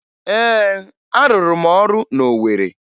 Ee, arụrụ m ọrụ na Owere